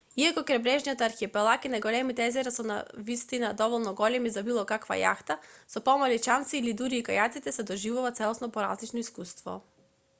иако крајбрежниот архипелаг и најголемите езера се навистина доволно големи за било каква јахта со помалите чамци или дури и кајаците се доживува целосно поразлично искуство